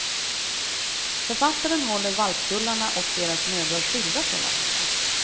Författaren håller valpkullarna och deras mödrar skilda från varandra.